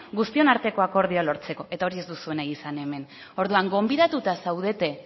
guztion arteko akordioa lortzeko eta hori ez duzue nahi izan hemen ordua gonbidatuta zaudete